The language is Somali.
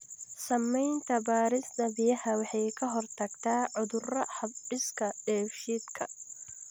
Samaynta baadhista biyaha waxa ay ka hortagtaa cudurrada hab-dhiska dheefshiidka.